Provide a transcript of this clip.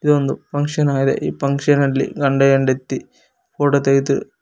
ಇದು ಒಂದು ಫಂಕ್ಷನ್ ಆಗಿದೆ ಈ ಫಂಕ್ಷನಲ್ಲಿ ಗಂಡಹೆಂಡತಿ ಫೋಟೋ ತೆಗೆದು--